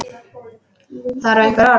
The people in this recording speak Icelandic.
Þarf einhver orð?